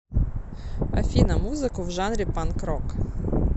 афина музыку в жанре панк рок